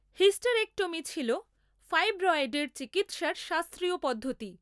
Hysterectomy ছিল ফাইব্রয়েডের চিকিৎসার শাস্ত্রীয় পদ্ধতি।